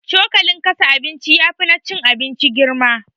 Cokalin kasa abinci yafi na cin abinci girma